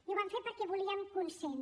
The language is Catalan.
i ho vam fer perquè volíem consens